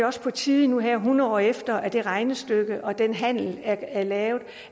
også på tide nu her hundrede år efter at det regnestykke og den handel er lavet